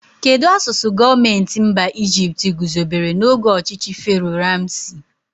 Kedụ asụsụ gọọmenti mba Ijipt guzobere n'oge ọchịchị Fero Ramsi?